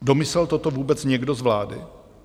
Domyslel toto vůbec někdo z vlády?